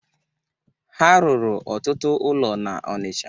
Ha rụrụ ọtụtụ ụlọ n'Ọnịcha.